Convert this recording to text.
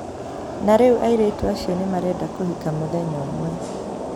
Na rĩu airĩtu acio nĩ marenda kũhika mũthenya ũmwe.